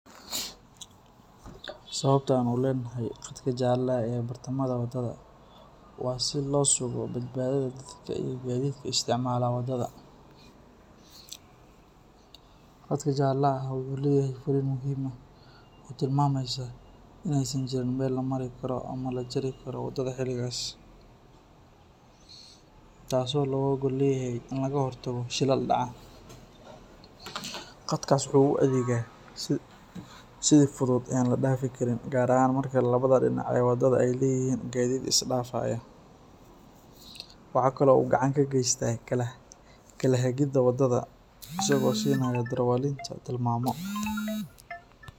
Sababta aan u leenahay qadka jaalaha ee bartamaha wadada waa si loo sugo badbaadada dadka iyo gaadiidka isticmaala wadada. Qadka jaalaha ah wuxuu leeyahay fariin muhim ah oo tilmaamaysa in aysan jirin meel la mari karo ama la jari karo wadada xilligaas, taasoo looga gol leeyahay in laga hortago shilal dhaca. Qadkaas waxa uu u adeegaa sidii xuduud aan la dhaafi karin, gaar ahaan marka labada dhinac ee wadadu ay leeyihiin gaadiid isdhaafaya. Waxa kale oo uu gacan ka geystaa kala hagida wadada, isagoo siinaya darawaliinta tilmaamo.